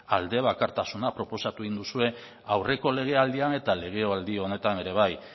aldebakartasuna proposatu duzue aurreko legealdian eta legealdi honetan ere bai